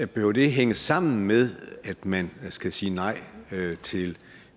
behøver det hænge sammen med at man skal sige nej til